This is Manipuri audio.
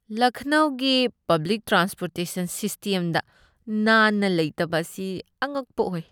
ꯂꯈꯅꯧꯒꯤ ꯄꯕ꯭ꯂꯤꯛ ꯇ꯭ꯔꯥꯟꯁ꯭ꯄꯣꯔꯇꯦꯁꯟ ꯁꯤꯁ꯭ꯇꯦꯝꯗ ꯅꯥꯟꯅ ꯂꯩꯇꯕ ꯑꯁꯤ ꯑꯉꯛꯄ ꯑꯣꯏ ꯫